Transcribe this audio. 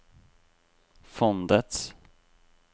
fondets